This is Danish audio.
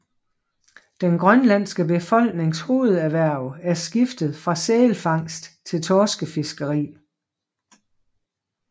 Den grønlandske befolknings hovederhverv er skiftet fra sælfangst til torskefiskeri